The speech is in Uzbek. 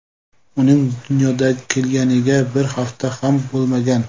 Uning dunyoga kelganiga bir hafta ham bo‘lmagan.